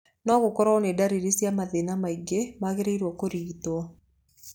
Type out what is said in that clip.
No gũkorwo nĩ ndariri cia mathĩna mangĩ magĩrĩiro kũrigitwo.